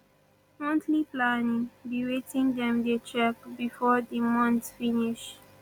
monthly planning be wetin dem dey check before di month finish